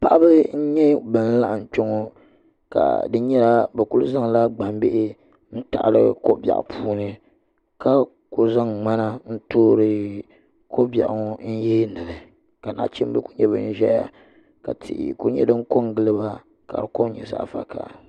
Paɣaba n nyɛ ban laɣam kpɛ ŋo ka di nyɛla bi ku zaŋla gbambihi n taɣali ko biɛɣu puuni ka ku zaŋ ŋmana n toori ko biɛɣu ŋo n yeendili ka nachimbi ku nyɛ din ʒɛya ka tihi ku nyɛ din ko n giliba ka di kom nyɛ zaɣ vakaɣa